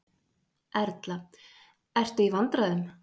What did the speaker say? Erla: Ert þú í vandræðum?